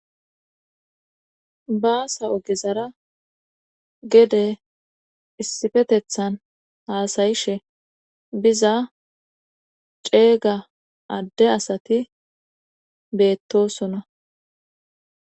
baasa ogezara gede issifetethan haasayishe biza ceega adde asati beettosona